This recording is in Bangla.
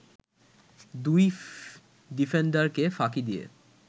দুই ডিফেন্ডারকে ফাঁকি দিয়ে